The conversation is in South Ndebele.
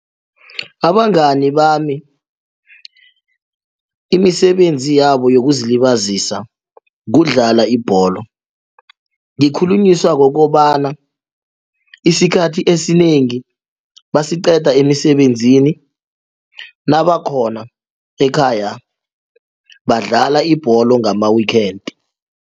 Abangani bami imisebenzi yabo yokuzilibazisa kudlala ibholo ngikhulunyiswa kukobana isikhathi esinengi basiqeda emisebenzini nabakhona ekhaya badlala ibholo ngama-weekend.